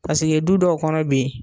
Paseke du dɔw kɔnɔ bi